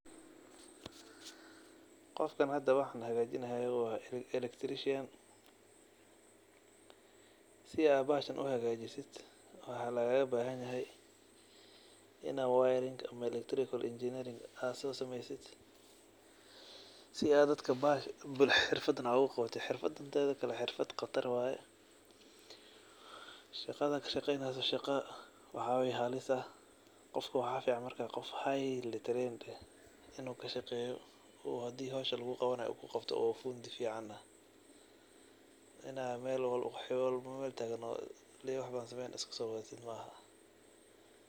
Qofkan hada waxan hagajini hayo wa electrician. Sii ad bahashan uhagajis waxa lagabahan yahay in ad wayar ama electrical engineering ad sosameysid si aad dadka xirfadan oguqawatid, xirfadan mida kale wa qatar oo shaqda ad kashaqeyneysid wa halis waxa fican qof highly trained eh in uu kashaqeyo oo hadi howsha luguqawanayo kuqabto oo fundi fican ah. In ad qof walbo meel tagan iskasowadatid maaha.